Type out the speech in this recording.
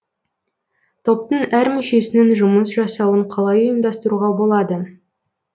топтың әр мүшесінің жұмыс жасауын қалай ұйымдастыруға болады